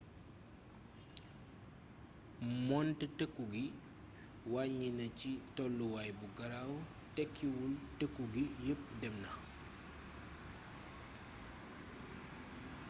moonte tëkku gi wàññi na ci tolluwaay bu garaw tekkiwul tëkku gi yepp dem na